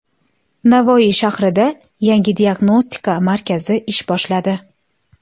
Navoiy shahrida yangi diagnostika markazi ish boshladi.